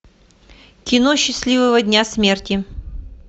кино счастливого дня смерти